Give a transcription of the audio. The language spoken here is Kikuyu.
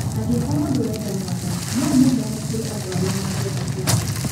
Angĩkorũo ndũrenda mwana, no ũmũheane kũrĩ andũ arĩa mangĩenda ciana.